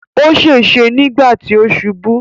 Ó ṣèṣe nígbà tí ó ṣubú.